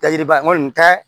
Ka yiriba n kɔni ta